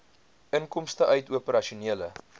inkomste uit operasionele